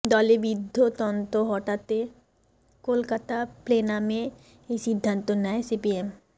দলে বৃদ্ধতন্ত্র হটাতে কলকাতা প্লেনামে এই সিদ্ধান্ত নেয় সিপিএম